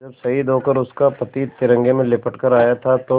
जब शहीद होकर उसका पति तिरंगे में लिपट कर आया था तो